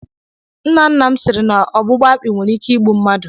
Nna nna m siri na ọgbụgba akpi nwere ike igbu mmadụ.